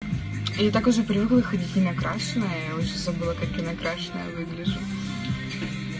или такой же природе ходить на красное уже забыла как накрашенная выгляжу